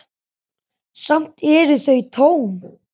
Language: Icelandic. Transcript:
Samt eru þau tóm.